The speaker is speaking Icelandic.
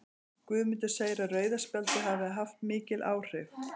Guðmundur segir að rauða spjaldið hafi haft mikil áhrif.